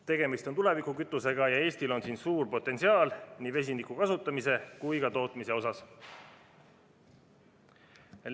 Tegemist on tulevikukütusega ja Eestil on suur potentsiaal nii vesiniku kasutamise kui ka tootmise osas.